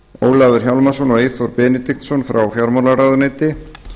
ólafur hjálmarsson og eyþór benediktsson frá fjármálaráðuneyti